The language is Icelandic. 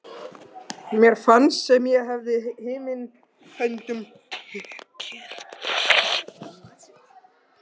Mér fannst sem ég hefði himin höndum tekið.